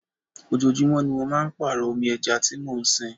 Ojoojúmó ni mo máa ń pàrọ omi ẹja tí mo ń sìn.